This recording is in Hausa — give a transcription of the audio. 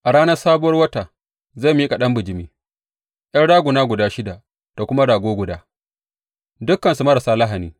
A ranar Sabuwar Wata zai miƙa ɗan bijimi, ’yan raguna guda shida da kuma rago guda, dukansu marasa lahani.